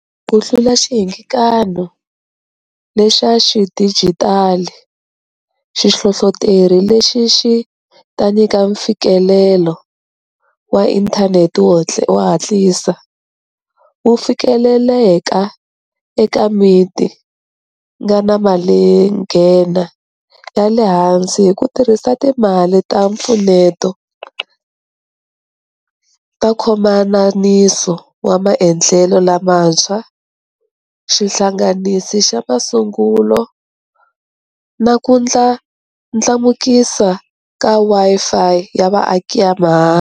Ku hlula xihingakanyi lexa xidijitali, xihlohloteri lexi xi ta nyika mfikelelo wa inthanete wo hatlisa, wo fikeleleka eka miti nga na malinghena ya le hansi hi ku tirhisa timali ta mpfuneto ta nkhomananiso wa maendlelo lamantshwa xihlanganisi xa masungulo na ku ndlandlamukisa ka Wi-Fi ya vaaki ya mahala.